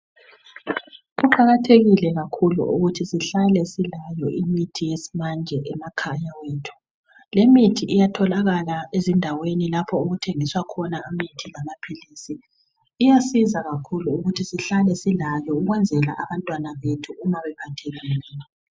Kuqakathekile kakhulu ukuthi sihlale silayo imithi yesimanje emakhaya ethu. Limithi iyatholakala ezindaweni lapho okuthengiswa khona imithi lamaphilisi. Iyasiza kakhulu ukuthi sihlale silayo ukwenzela abantwana bethu uma bephathekile.